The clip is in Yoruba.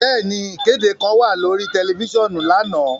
Bẹẹni, ikede kan wa lori tẹlifisiọnu lana.